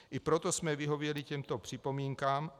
I proto jsme vyhověli těmto připomínkám.